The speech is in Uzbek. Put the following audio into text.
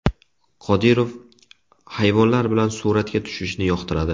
Qodirov hayvonlar bilan suratga tushishni yoqtiradi.